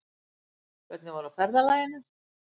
Hvernig var í ferðalaginu?